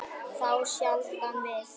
Þá sjaldan við